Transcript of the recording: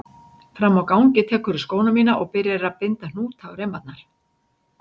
Frammi á gangi tekurðu skóna mína og byrjar að binda hnúta á reimarnar.